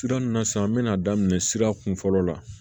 Sira nin na sisan n bɛna daminɛ sira kun fɔlɔ la